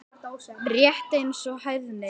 Rétt eins og hæðni.